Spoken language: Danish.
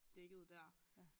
Dækket dér